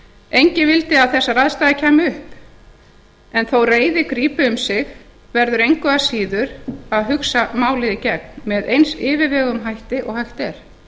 enginn vildi að þessar aðstæður kæmu upp en þó reiði grípi um sig verður engu að síður að hugsa málið í gegn með eins yfirveguðum hætti og hægt er